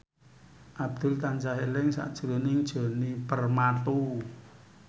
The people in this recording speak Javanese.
Abdul tansah eling sakjroning Djoni Permato